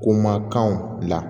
Ko ma kanw bila